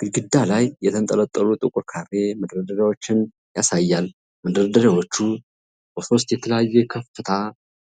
ግድግዳ ላይ የተንጠለጠሉ ጥቁር ካሬ መደርደሪያዎችን ያሳያል፤ መደርደሪያዎቹ በሦስት የተለያየ ከፍታ